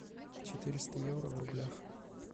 четыреста евро в рублях